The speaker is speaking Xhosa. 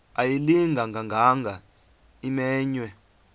ayilinga gaahanga imenywe